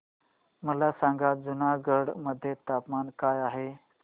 मला सांगा जुनागढ मध्ये तापमान काय आहे